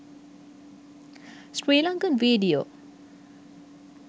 sri lankan video